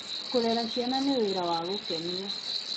Kũrera ciana nĩ wĩra wa gũkenia.